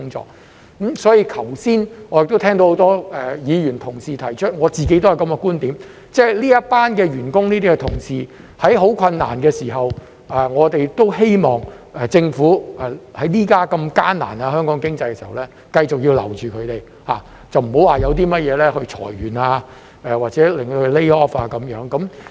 就此，我剛才亦都聽到很多議員同事提出，而我自己都有這個觀點，就是這群員工、這些同事正面對很困難的時候，我們希望政府在現時香港經濟如此艱難之際，繼續留住他們，不要因甚麼事裁員或者令他們被 lay off。